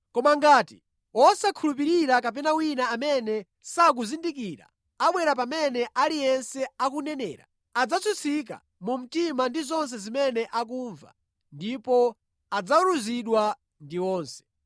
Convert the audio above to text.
Koma ngati wosakhulupirira kapena wina amene sakuzindikira abwera pamene aliyense akunenera, adzatsutsika mu mtima ndi zonse zimene akumva ndipo adzaweruzidwa ndi onse